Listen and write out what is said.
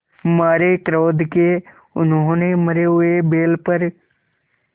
मारे क्रोध के उन्होंने मरे हुए बैल पर